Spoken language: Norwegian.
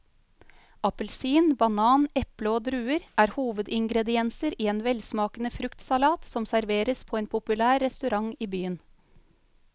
Appelsin, banan, eple og druer er hovedingredienser i en velsmakende fruktsalat som serveres på en populær restaurant i byen.